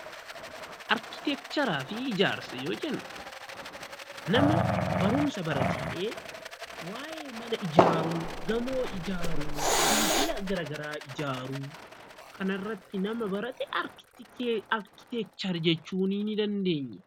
Arkiteekcharii fi ijaarsa yoo jennu nama barumsa baratee waa'ee mana ijaaruu, gamoo ijaaruu, dildila gara garaa ijaaruu kanarratti nama barate arkiteekcharii jechuu ni dandeenya.